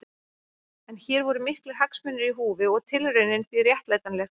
En hér voru miklir hagsmunir í húfi og tilraunin því réttlætanleg.